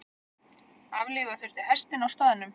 Aflífa þurfti hestinn á staðnum.